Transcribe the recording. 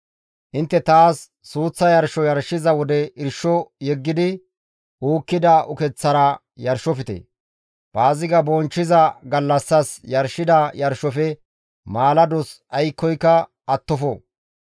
«Intte taas suuththa yarsho yarshiza wode irsho yeggidi uukkida ukeththara yarshofte. Paaziga bonchchiza gallassas yarshida yarshofe maalados aykkoyka attofo.